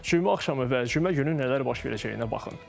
Cümə axşamı və cümə günü nələr baş verəcəyinə baxın.